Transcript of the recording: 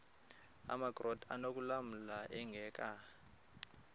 amakrot anokulamla ingeka